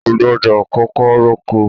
o gbọdọ kókó r'oko